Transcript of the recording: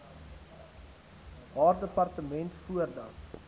haar departement voordat